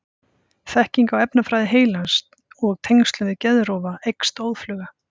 Þekking á efnafræði heilans og tengslum við geðklofa eykst óðfluga.